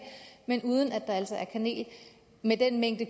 men uden at der altså er kanel med den mængde